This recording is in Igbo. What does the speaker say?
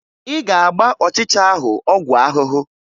Ị ga-agba ọchịcha ahụ ọgwụ ahụhụ!